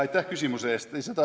Aitäh küsimuse eest!